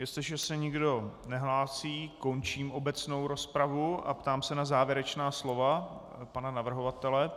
Jestliže se nikdo nehlásí, končím obecnou rozpravu a ptám se na závěrečná slova pana navrhovatele.